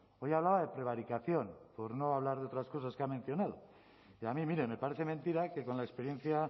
hoy hablaba de prevaricación por no hablar de otras cosas que ha mencionado y a mí mire me parece mentira que con la experiencia